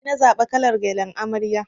Nina zaɓa kalar gyallan amarya.